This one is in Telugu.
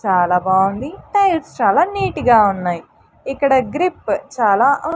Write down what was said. చాలా బావుంది టైల్స్ చాలా నీట్ గా ఉన్నాయి ఇక్కడ గ్రిప్ చాలా అం--